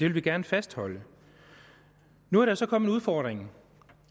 vil gerne fastholde det nu er der så kommet en udfordring